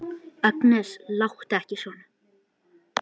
Agnes, láttu ekki svona!